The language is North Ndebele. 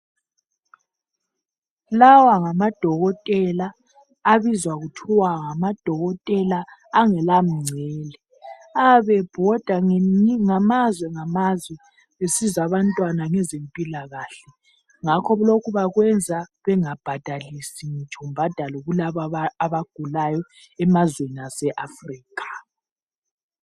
Lawa ngamadokotela abizwa kuthiwa ngamadokotela angelamngcele. Ayabe ebhoda ngamazwe ngamazwe besiza abantwana ngezempilakahle. Ngakho lokhu bakwenza bengabhadalisi ngitsho mbhadalo kulaba abagulayo emazweni ase Africa.